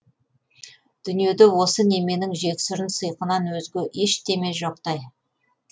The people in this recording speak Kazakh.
дүниеде осы неменің жексұрын сыйқынан өзге ештеме жоқтай